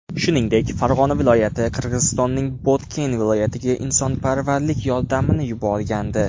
Shuningdek, Farg‘ona viloyati Qirg‘izistonning Botken viloyatiga insonparvarlik yordami yuborgandi .